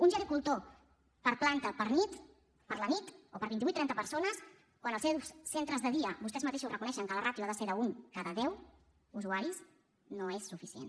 un gericultor per planta per nit per a vint i vuit o trenta persones quan als seus centres de dia vostès mateixos reconeixen que la ràtio ha de ser un cada deu usuaris no és suficient